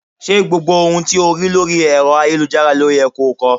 Ṣé gbogbo ohun tí o rí lórí ẹ̀rọ ayélujára ló yẹ ko ko?